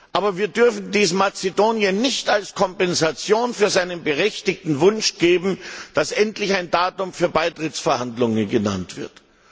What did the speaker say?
Aber wir dürfen dies Mazedonien nicht als Kompensation für seinen berechtigten Wunsch geben, dass endlich ein Datum für Beitrittsverhandlungen genannt wird.